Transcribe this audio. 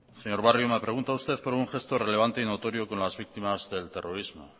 señor barrio me pregunta usted por un gesto relevante y notorio con las víctimas del terrorismo